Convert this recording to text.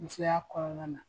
Musoya kɔnɔna na